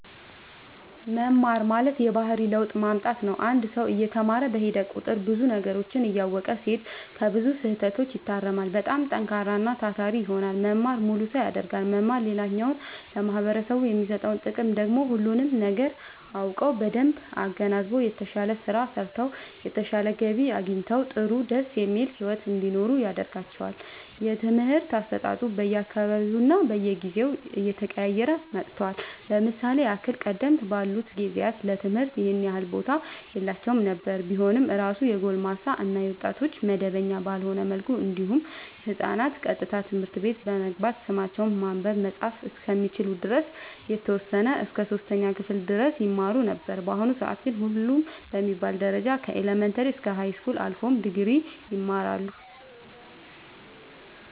መማር ማለት የባህሪ ለውጥ ማምጣት ነው አንድ ሰው እየተማረ በሄደ ቁጥር ብዙ ነገሮችን እያወቀ ሲሄድ ከብዙ ስህተቶች ይታረማል በጣም ጠንካራና ታታሪ ይሆናል መማር ሙሉ ሰው ያደርጋል መማር ሌላኛው ለማህበረሰቡ የሚሰጠው ጥቅም ደግሞ ሁሉንም ነገር አውቀው በደንብ አገናዝበው የተሻለ ስራ ሰርተው የተሻለ ገቢ አግኝተው ጥሩ ደስ የሚል ሒወት እንዲኖሩ ያደርጋቸዋል። የትምህርት አሰጣጡ በየ አካባቢውና በየጊዜው እየተቀያየረ መጥቷል ለምሳሌ ያህል ቀደም ባሉት ጊዜያት ለትምህርት ይኸን ያህል ቦታ የላቸውም ነበር ቢኖር እራሱ የጎልማሳ እና የወጣቶች መደበኛ ባልሆነ መልኩ እንዲሁም ህፃናት ቀጥታ ትምህርት ቤት በመግባት ስማቸውን ማንበብ መፃፍ እስከሚችሉ ድረስ የተወሰነ እስከ 3ኛ ክፍል ድረስ ይማሩ ነበር በአሁኑ ሰአት ግን ሁሉም በሚባል ደረጃ ከኢለመንታሪ እስከ ሀይስኩል አልፎም ድግሪ ይማራሉ